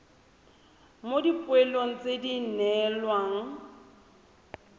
mo dipoelong tse di neelwang